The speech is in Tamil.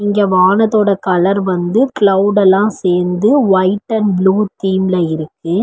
இங்க வானத்தோட கலர் வந்து கிளவுட் எல்லா சேர்ந்து ஒயிட் அண்ட் ப்ளூ தீம்ல இருக்கு.